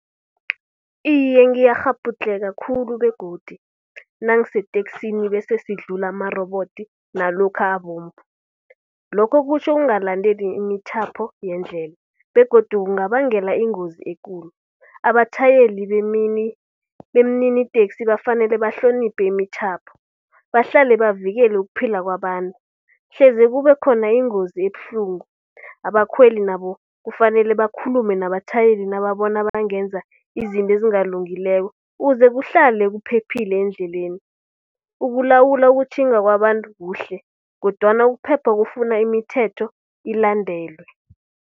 Iye ngiyakghabhudlheka khulu begodu nangingeteksini bese sidlula amarobodo nalokha abomvu. Lokho kutjho ukungalandeli imithetho yendlela begodu kungabangela ingozi ekulu. Abatjhayeli bemniniteksi kufanele bahloniphe imitjhapho. Bahlale bavikele ukuphila kwabantu, hleze kube khona ingozi ebuhlungu. Abakhweli nabo kufanele bakhulume nabatjhayeli nababona bangenza izinto ezingakalungi ukuze kuhlale kuphephile endleleni. Ukulawula ukutjhinga kwabantu kuhle kodwana ukuphepha kufuna imithetho ilandelwe.